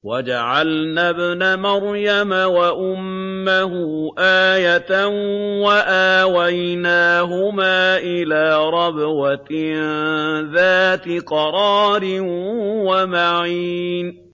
وَجَعَلْنَا ابْنَ مَرْيَمَ وَأُمَّهُ آيَةً وَآوَيْنَاهُمَا إِلَىٰ رَبْوَةٍ ذَاتِ قَرَارٍ وَمَعِينٍ